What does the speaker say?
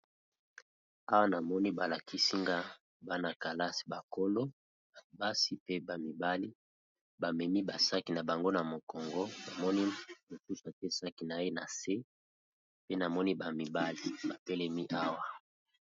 awa na moni balakisinga bana-kalasi bakolo babasi pe bamibali bamemi basaki na bango na mokongo na moni mosusu atesaki na ye na se pe na moni bamibali bapelemi awa